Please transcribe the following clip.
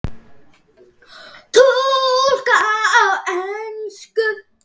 Túlkað á ensku.